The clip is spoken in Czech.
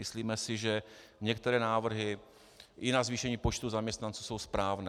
Myslíme si, že některé návrhy i na zvýšení počtu zaměstnanců jsou správné.